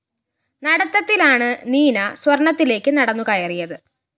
നടത്തത്തിലാണ് നീന സ്വര്‍ണ്ണത്തിലേക്ക് നടന്നുകയറിയത്